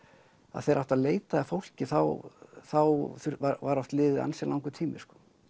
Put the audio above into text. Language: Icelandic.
þegar átti að leita að fólki þá þá var oft liðinn ansi langur tími